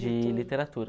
De literatura.